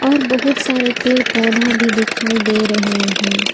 और बहुत सारे पेड़ पौधा भी दिखाई दे रहे हैं।